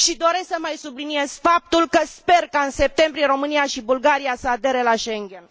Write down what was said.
Și doresc să mai subliniez faptul că sper ca, în septembrie, România și Bulgaria să adere la Schengen.